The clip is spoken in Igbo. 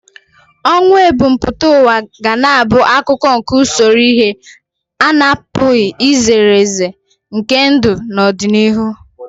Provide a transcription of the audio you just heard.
Ọnwụ ebumpụta ụwa ga na-abụ akụkụ nke usoro ihe a na-apụghị izere ezere nke ndụ n'ọdịnihu.